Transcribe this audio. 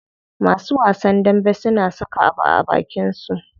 Masu wasan dambe suna saka abu a abakin su.